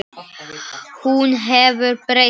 Hún hefur breyst.